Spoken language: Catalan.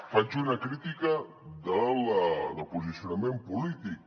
faig una crítica del posicionament polític